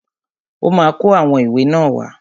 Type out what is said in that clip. Ọ́ ma kó àwọn ìwé náà wá.